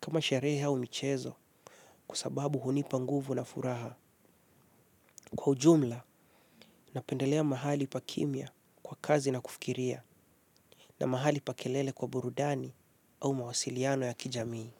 kama sherehe au michezo kwa sababu hunipa nguvu na furaha. Kwa ujumla, napendelea mahali pa kimya wa kazi na kufikiria. Na mahali pa kelele kwa burudani au mawasiliano ya kijamii.